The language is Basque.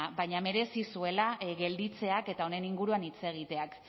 baina merezi zuela gelditzeak eta honen inguruan hitz egiteak